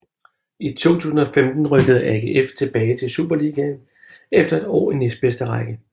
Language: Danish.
I 2015 rykkede AGF tilbage til superligaen efter et år i næstbedste række